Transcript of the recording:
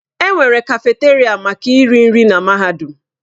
Enwere kafeteria maka iri nri na mahadum.